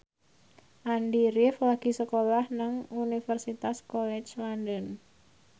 Andy rif lagi sekolah nang Universitas College London